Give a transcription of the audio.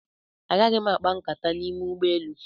Agaghị m akpa nkata n'ime ụgbọelu.